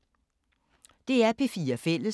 DR P4 Fælles